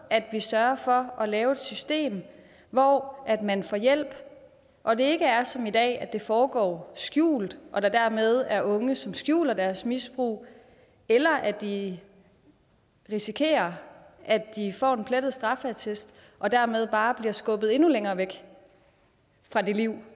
at vi sørger for at lave et system hvor man får hjælp og at det ikke er som i dag at det foregår skjult og at der dermed er unge som skjuler deres misbrug eller at de risikerer at de får en plettet straffeattest og dermed bare bliver skubbet endnu længere væk fra det liv